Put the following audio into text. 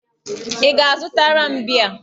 Ị ga-azụtara m bíá?